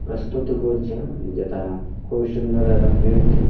প্রস্তুতি করছে যেটা খুব সুন্দর এবং নির্তী --